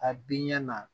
A bin ɲɛ na